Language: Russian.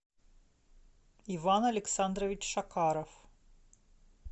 иван александрович шакаров